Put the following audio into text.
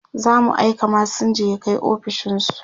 zamu aika masinja ya Kai ofishinsu